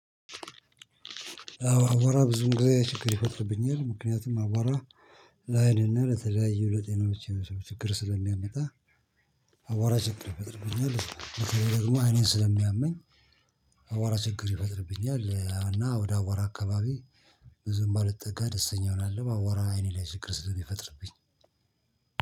አቧራ ብዙ እንግዲህ ችግር ይፈጥርብኛል ምክንያቱም አቧራ ለአይንና ለተለያዩ ለጤናዎች ችግር ስለሚያመጣ። አቧራ ችግር ይፈጥርብኛል። ደግሞ አይኔን ስለሚያመኝ። አቧ ራ ችግር ይፈጥርብኛል። እና ወደ አቧራ አካባቢ ብዙም ባልጠጋ ደስተኛውን ሆናለሁ። አቧራ አይኔ ላይ ሽችግር ስለሚፈጥርብኝ።